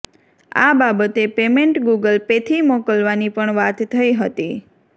આ બાબતે payment Google પેથી મોકલવાની પણ વાત થઈ હતી